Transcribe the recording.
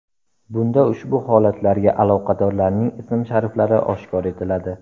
Bunda ushbu holatlarga aloqadorlarning ism-shariflari oshkor etiladi.